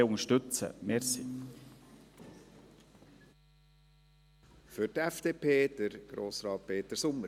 die SVP wird die Planungserklärung 4 unterstützen.